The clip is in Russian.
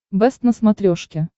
бэст на смотрешке